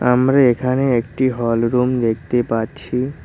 আমরা এখানে একটি হল রুম দেখতে পাচ্ছি।